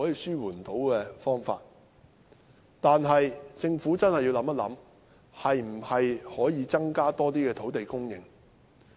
然而，政府真的要考慮一下可否增加更多土地供應。